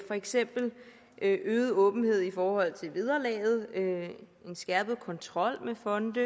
for eksempel øget åbenhed i forhold til vederlaget en skærpet kontrol med fonde